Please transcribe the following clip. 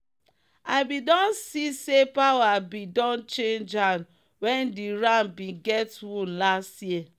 i bin don see say power bin don change hand when the ram bin get wound last year.